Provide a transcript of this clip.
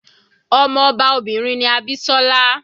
Ọmọ ọba obìnrin ni Abisola.